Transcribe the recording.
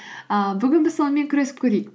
ііі бүгін біз сонымен күресіп көрейік